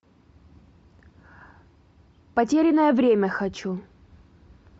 потерянное время хочу